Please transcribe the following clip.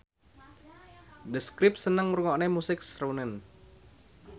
The Script seneng ngrungokne musik srunen